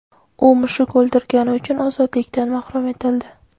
U mushuk o‘ldirgani uchun ozodlikdan mahrum etildi.